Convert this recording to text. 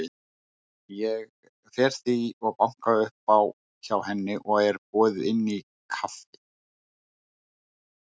Ég fer því og banka upp á hjá henni og er boðið inn í kaffi.